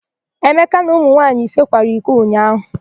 Emeka na ụmụ nwaanyị ise kwara iko ụnyaahụ.